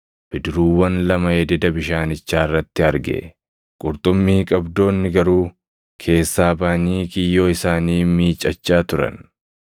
bidiruuwwan lama ededa bishaanichaa irratti arge; qurxummii qabdoonni garuu keessaa baʼanii kiyyoo isaanii miicachaa turan.